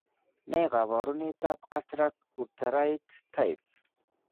Ne kaabarunetap Cataract Hutterite type?